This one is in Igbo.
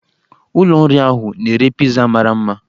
Ụlọ nri ahụ na-ere piza mara mma